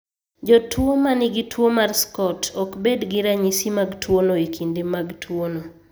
Jotuo ma nigi tuwo mar SCOT ok bed gi ranyisi mag tuwono e kinde mag tuwono.